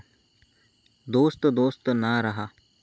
दोस्त दोस्त ना रहा...